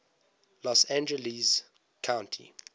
los angeles county